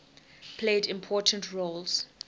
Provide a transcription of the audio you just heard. played important roles